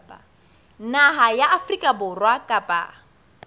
naha ya afrika borwa kapa